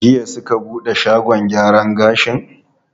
Jiya suka buɗe shagon gyara gashin?